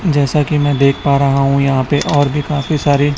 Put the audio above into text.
जैसा की मैं देख पा रहा हूं यहां पे और भी काफी सारी--